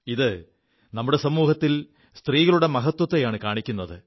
ഇത് നമ്മുടെ സമൂഹത്തിൽ സ്ത്രീകളുടെ മഹത്വത്തെയാണു കാണിക്കുത്